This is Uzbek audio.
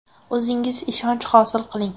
O‘zingiz ishonch hosil qiling!